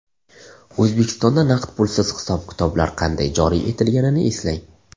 O‘zbekistonda naqd pulsiz hisob-kitoblar qanday joriy etilganini eslang.